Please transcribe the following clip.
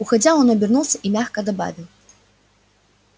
уходя он обернулся и мягко добавил